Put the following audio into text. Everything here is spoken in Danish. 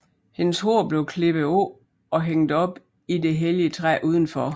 Hendes hår blev klippet af og hængt op i det hellige træ udenfor